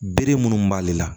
Bere munnu b'ale la